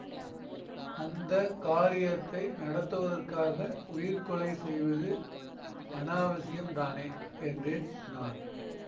அந்த காரியத்தை நடத்துவதற்காக உயிர்க் கொலை செய்வது அநாவசியம்தானே என்றேன் நான்